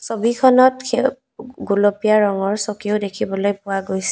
ছবিখনত সেউ গোলপীয়া ৰঙৰ চকীও দেখিবলৈ পোৱা গৈছে।